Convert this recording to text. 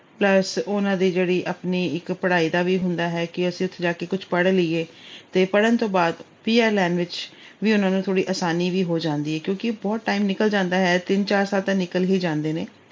plus ਉਹਨਾਂ ਦੀ ਆਪਣੀ ਜਿਹੜੀ ਇੱਕ ਪੜ੍ਹਾਈ ਦਾ ਵੀ ਹੁੰਦਾ ਹੈ ਕਿ ਅਸੀਂ ਉੱਥੇ ਜਾ ਕੇ ਕੁਛ ਪੜ੍ਹ ਲਈਏ ਤੇ ਪੜ੍ਹਨ ਤੋਂ ਬਾਅਦ PR ਲੈਣ ਵਿੱਚ ਉਹਨਾਂ ਨੂੰ ਥੋੜੀ ਆਸਾਨੀ ਵੀ ਹੋ ਜਾਂਦੀ ਹੈ ਕਿਉਂਕਿ ਬਹੁਤ time ਨਿਕਲ ਜਾਂਦਾ ਹੈ। ਤਿੰਨ-ਚਾਰ ਸਾਲ ਤਾਂ ਨਿਕਲ ਹੀ ਜਾਂਦੇ ਨੇ।